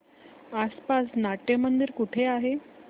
आसपास नाट्यमंदिर कुठे आहे